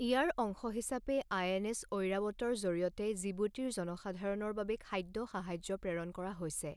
ইয়াৰ অংশ হিচাপে আইএনএছ ঐৰাৱতৰ জৰিয়তে জিবুতিৰ জনসাধাৰণৰ বাবে খাদ্য সাহায্য প্ৰেৰণ কৰা হৈছে।